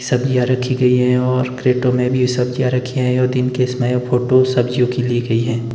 सब्जियां रखी गई है और क्रेटों में भी सब्जियां रखी हुई है और दिन के इस में फोटो सब्जियों की ली गई है।